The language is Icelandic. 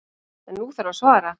En nú þarf að svara.